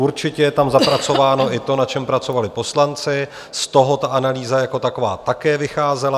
Určitě je tam zapracováno i to, na čem pracovali poslanci, z toho ta analýza jako taková také vycházela.